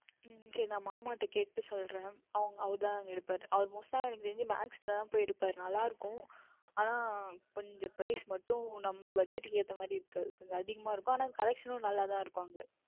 உம் உம் சரி நான் மாமாவிடம் கேட்டு சொல்லுகின்றேன் அவங்க அவரு தான் அங்கே எடுப்பார் அவர் எனக்கு தெரிந்து Most டாக Max லதான் போய் எடுபாரு நன்றாக இருக்கும் ஆனால் கொஞ்சம் Price மற்றும் நாம் Budget தகுந்த மாதிரி இருக்காது கொஞ்சம் அதிகம் இருக்கும் ஆனால் Collection நன்றாக தான் இருக்கும் அங்கே